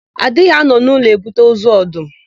A dịghị anọ n'ụlọ ebute ozu ọdụm.